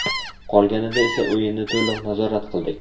Qolganida esa o‘yinni to‘liq nazorat qildik.